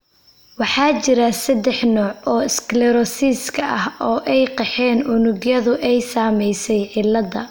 Waxaa jira saddex nooc oo sclerosiska ah, oo ay qeexeen unugyadu ay saameysay cilladda.